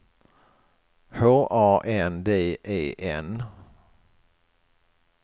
H A N D E N